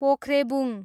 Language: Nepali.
पोख्रेबुङ